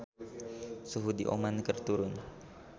Suhu di Oman keur turun